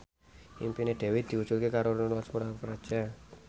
impine Dewi diwujudke karo Ronal Surapradja